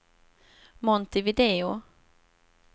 Montevideo